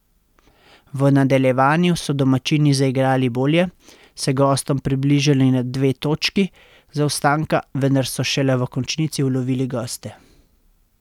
V nadaljevanju so domačini zaigrali bolje, se gostom približali na dve točki zaostanka, vendar so šele v končnici ulovili goste.